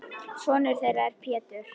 Sonur þeirra er Pétur.